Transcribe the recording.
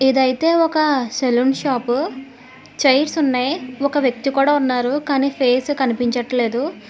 ఇదైతే ఒక saloon shop chairs ఉన్నాయి ఒక వ్యక్తి కూడా ఉన్నారు కానీ ఫేస్ కనిపించట్లేదు.